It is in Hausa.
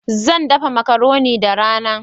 Zan dafa macaroni da rana